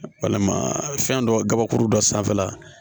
Walima fɛn dɔ gabakuru dɔ sanfɛla la